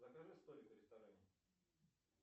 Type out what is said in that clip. закажи столик в ресторане